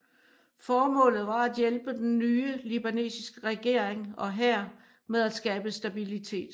Formålet var at hjælpe den nye libanesiske regering og hær med at skabe stabilitet